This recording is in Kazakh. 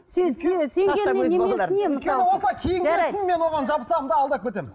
өйткені осылай киінген соң мен оған жабысамын да алдап кетемін